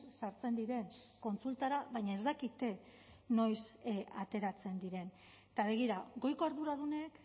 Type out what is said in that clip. sartzen diren kontsultara baina ez dakite noiz ateratzen diren eta begira goiko arduradunek